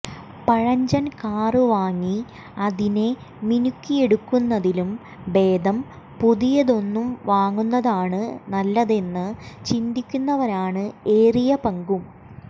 പഴഞ്ചൻ കാർ വാങ്ങി അതിനെ മിനുക്കിഎടുക്കന്നതിലും ഭേദം പുതിയതൊന്നു വാങ്ങുന്നതാണ് നല്ലതെന്ന് ചിന്തിക്കുന്നവരാണ് ഏറിയപങ്കും